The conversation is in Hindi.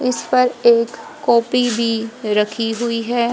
इस पर एक कॉपी भी रखी हुई है।